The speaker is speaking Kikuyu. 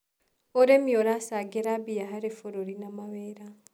ũrĩmi ũracangĩra mbia harĩ bũruri na mawĩra.